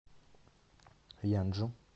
янджу